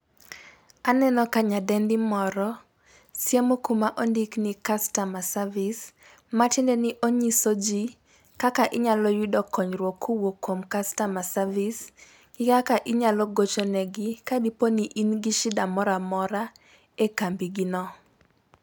Aneno ka nyadendi moro siemo kuma ondikni customer service matiende ni onyiso jii kaka inyalo yudo konyruok kowuok kuom customer service, kaka inyalo gocho negi ka in gi shida moramora e kambi gi no.